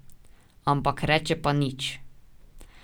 Ampak reče pa nič.